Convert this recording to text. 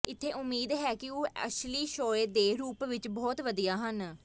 ਇੱਥੇ ਉਮੀਦ ਹੈ ਕਿ ਉਹ ਅਸਲੀ ਸ਼ੋਅ ਦੇ ਰੂਪ ਵਿੱਚ ਬਹੁਤ ਵਧੀਆ ਹਨ